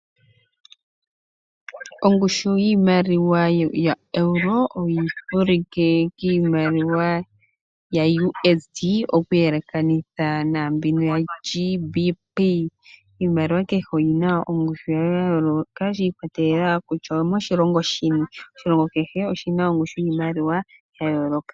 Ongushu yiimaliwa yoEuro oyi vulike kiimaliwa yaUSD oku yelekanitha naambibo yoGBP. Iimaliwa kehe oyina ongushu yayo ya yooloka shi ikwatelela kutya oyomoshilongo shini. Oshilongo kehe oshina ongushu yiimaliwa ya yooloka.